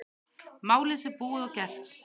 Málið sé búið og gert.